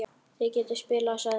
Þið getið spilað, sagði hún.